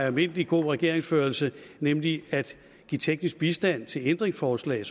almindelig god regeringsførelse nemlig at give teknisk bistand til ændringsforslag